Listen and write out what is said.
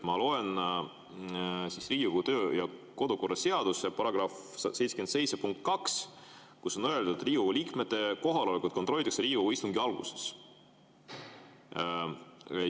Ma loen Riigikogu kodu- ja töökorra seaduse § 77 punkti 2, kus on öeldud, et Riigikogu liikmete kohalolekut kontrollitakse Riigikogu istungi alguses.